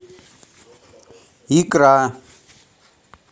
икра